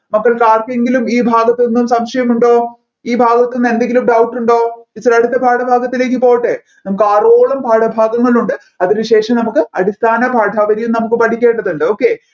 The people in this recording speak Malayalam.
അപ്പോ ആർകെങ്കിലും ഈ ഭാഗത്ത് നിന്ന് സംശയം ഉണ്ടോ ഈ ഭാഗത്ത് നിന്ന് എന്തെങ്കിലും doubt ഉണ്ടോ teacher അടുത്ത പാഠഭാഗത്തിലേക്ക് പോട്ടെ നമ്മുക്ക് ആറോളം പാഠഭാഗങ്ങളുണ്ട് അതിനു ശേഷം നമുക്ക് അടിസ്ഥാന പാഠാവലിയും നമ്മുക്ക് പഠിക്കേണ്ടതുണ്ട് okay